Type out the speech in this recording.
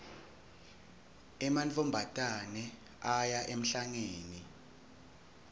emantfombatane aya emhlangeni